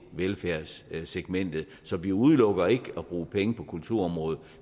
velfærdssegmentet så vi udelukker ikke at bruge penge på kulturområdet